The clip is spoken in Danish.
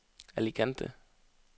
Alicante